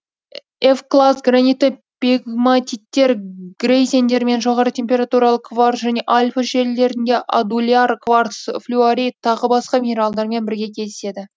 эвклаз гранитті пегматиттер грейзендер мен жоғары температуралы кварц және альпі желілерінде адуляр кварц флюорит тағы басқа минералдармен бірге кездеседі